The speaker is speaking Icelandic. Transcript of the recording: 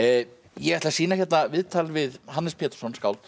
ég ætla að sýna hérna viðtal við Hannes Pétursson skáld